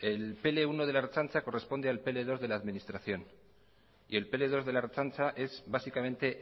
el pl uno de la ertzaintza corresponde al pl dos de la administración y el pe ele dos de la ertzaintza es básicamente